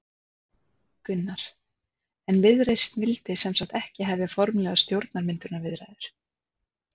Gunnar: En Viðreisn vildi sem sagt ekki hefja formlegar stjórnarmyndunarviðræður?